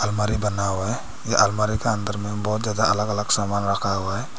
अलमारी बना हुआ है अलमारी के अंदर में बहुत ज्यादा अलग अलग सामान रखा हुआ है।